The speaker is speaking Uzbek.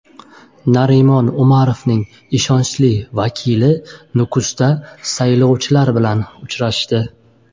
Narimon Umarovning ishonchli vakili Nukusda saylovchilar bilan uchrashdi.